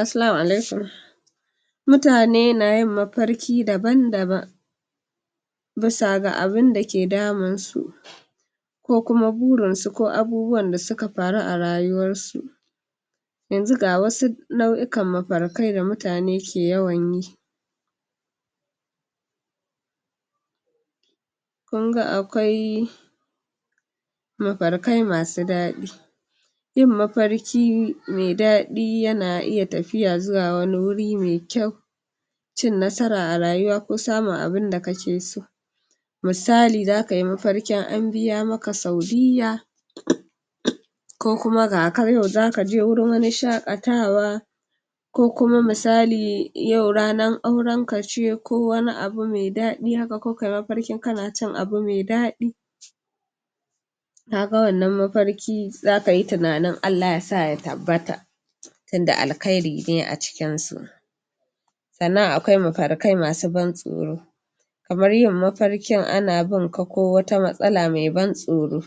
assalamu alaikum mutane na yin mafarki daban-daban bisa ga abunda ke damun su ko kuma burin su ko abubuwan da suka faru a rayuwar su yanzu ga wasu nau'ikan mafarkai da mutane ke yawan yi kunga akwai mafarkai masu daɗi yin mafarki me daɗi yana iya tafiya zuwa wani wuri me kyau cin nasara a rayuwa ko samun abunda kake so misali zaka yi mafarkin an biya maka saudiyya ko kuma ga ka nan zaka je wurin wani shaƙatawa ko kuma misali yau ranar auren ka ce ko wani abu me daɗi haka ko kayi mafarkin kana cin abu me daɗi ka ga wannan mafarki zaka yi tunanin Allah sa ya tabbata tunda alkhairi ne a cikin su sannan akwai mafarkai masu ban tsoro kamar yin mafarkin ana binka ko wata matsala me ban tsoro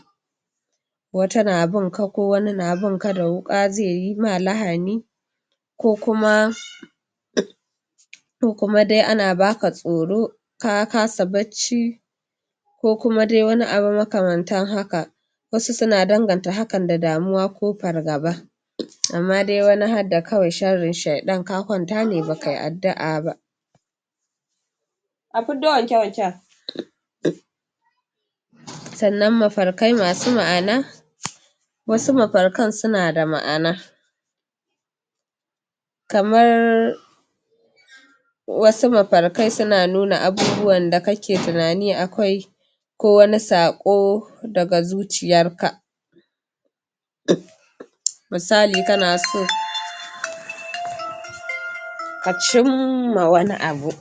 wata na binka ko wani na binka da wuƙa ze yi ma lahani ko kuma ko kuma dai ana baka tsoro ka kasa barci ko kuma dai wani abu makamantan hakan wasu suna danganta hakan da damuwa ko fargaba amma dai wani hadda kawai sharrin shaiɗan ka kwanta ne baka yi addua ba a fiddo wanke-wanken sannan mafarkai masu ma'ana wasu mafarkan suna da ma'ana kamar wasu mafarkan suna nuna abubuwan da kake tunani akai ko wani saƙo daga zuciyar ka misali kana so ka cimma wani abu